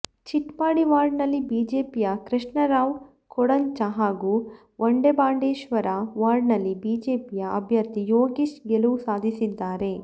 ಚಿಟ್ಪಾಡಿ ವಾರ್ಡ್ನಲ್ಲಿ ಬಿಜೆಪಿಯ ಕೃಷ್ಣ ರಾವ್ ಕೊಡಂಚ ಹಾಗೂ ವಡೆಬಾಂಡೇಶ್ವರ ವಾರ್ಡ್ನಲ್ಲಿ ಬಿಜೆಪಿಯ ಅಭ್ಯರ್ಥಿ ಯೋಗೀಶ್ ಗೆಲುವು ಸಾಧಿಸಿದ್ದಾರೆ